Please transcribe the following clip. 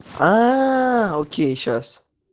окей сейчас